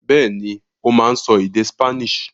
Bẹ́ẹ̀ni, ó máa ń sọ èdè Spanish.